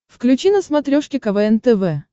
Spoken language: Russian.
включи на смотрешке квн тв